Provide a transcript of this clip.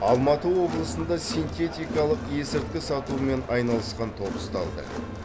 алматы облысында синтетикалық есірткі сатумен айналысқан топ ұсталды